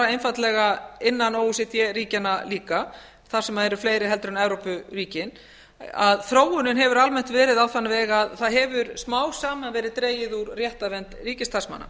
einfaldlega innan o e c d ríkjanna líka þar sem eru fleiri en evrópuríkin að þróunin hefur almennt verið á þann veg að það hefur smám saman verið dregið úr réttarvernd ríkisstarfsmanna